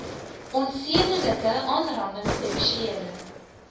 onsedelike aanranding seksuele